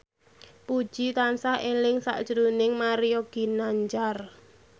Puji tansah eling sakjroning Mario Ginanjar